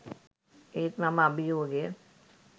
ඒත් මම අභියෝගය